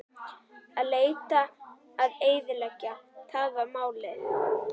Að leita og eyðileggja: það var málið.